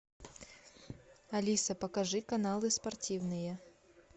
алиса покажи каналы спортивные